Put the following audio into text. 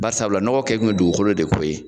Bari sabula nɔgɔ kɛ tun ye dugukolo de ko ye.